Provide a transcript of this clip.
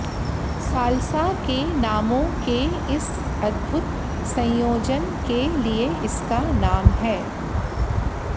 salsa के नामों के इस अद्भुत संयोजन के लिए इसका नाम है